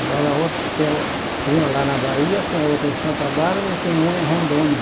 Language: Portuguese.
Agora a outra tem uma lá na Bahia, tem outra em Santa Bárbara e tem uma em Rondônia.